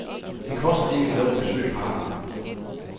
Det koster ikke noget at besøge parken.